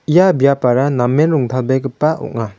ia biapara namen rongtalbegipa ong·a.